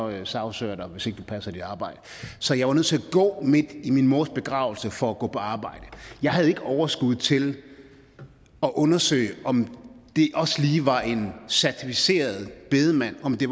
jeg sagsøger dig hvis du ikke passer dit arbejde så jeg var nødt til at gå midt i min mors begravelse for at gå på arbejde jeg havde ikke overskud til at undersøge om det også lige var en certificeret bedemand om det